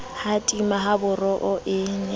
ha tima haboro e ne